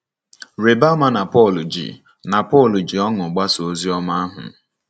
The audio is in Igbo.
Rịba ama na Pọl ji na Pọl ji ọṅụ gbasaa ozi ọma ahụ.